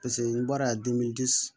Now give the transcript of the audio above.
Paseke n'i bɔra yan